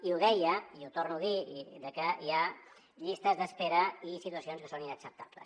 i ho deia i ho torno a dir que hi ha llistes d’espera i situacions que són inacceptables